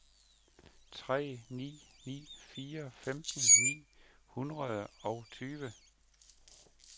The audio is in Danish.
tre ni ni fire femten ni hundrede og tyve